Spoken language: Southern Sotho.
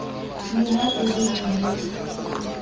le ha le ne le